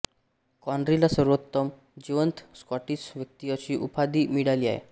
कॉनरीला सर्वोत्तम जिवंत स्कॉटिश व्यक्ती अशी उपाधी मिळाली आहे